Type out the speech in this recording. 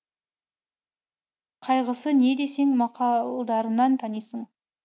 қайғысы не десең мақалдарынан танисың